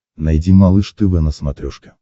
найди малыш тв на смотрешке